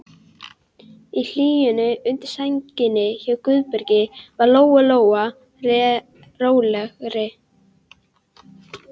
Í hlýjunni undir sænginni hjá Guðbergi varð Lóa Lóa rólegri.